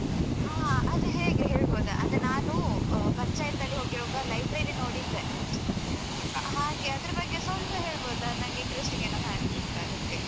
ಹಾ ಅದು ಹೇಗೆ ಹೇಳ್ಬೋದಾ ಅಂದ್ರೆ ನಾನು ಪಂಚಾಯ್ತಿಯಲ್ಲಿ ಹೋಗುವಾಗ library ನೋಡಿದ್ದೇ. ಹಾಗೆ ಅದ್ರ ಬಗ್ಗೆ ಸ್ವಲ್ಪ ಹೇಳ್ಬೋದಾ? ನನ್ಗೆ interesting ಏನೋ ಕಾಣ್ತಿತ್ತು ಅದಕ್ಕೆ.